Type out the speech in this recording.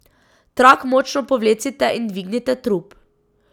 Trak močno povlecite in dvignite trup.